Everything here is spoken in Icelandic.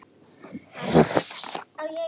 Bara strax.